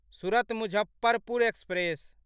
Surat Muzaffarpur express